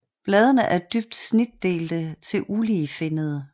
Bladene er dybt snitdelte til uligefinnede